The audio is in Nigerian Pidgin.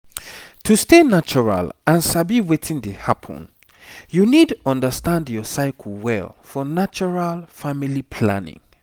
to stay natural and sabi wetin dey happen you need understand your cycle well for natural family planning.